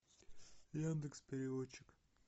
яндекс переводчик